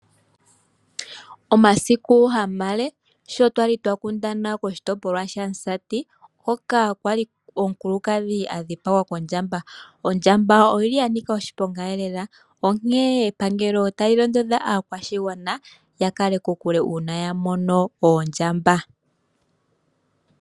Omasiku hamale sho twali twakundana koshitopolwa shaMusati hoka kwali omukuladhi adhipagwa kondjamba. Ondjamba oyili yanika oshipongaelela onkene epangelo otali londodha aakwashigwana yakale kokule uuna yamono oondjamba.